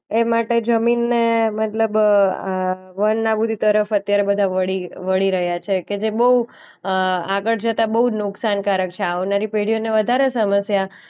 એ માટે જમીનને મતલબ અ અ વન આબૂદી તરફ અત્યારે બધા વળી વળી રહ્યા છે કે જે બોઉ અ આગળ જતા બોઉ નુકસાન કારક છે. આવનારી પેઢીઓને વધારે સમસ્યા.